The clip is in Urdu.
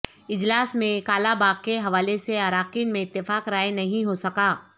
اجلاس میں کالا باغ کے حوالے سے اراکین میں اتفاق رائے نہیں ہو سکا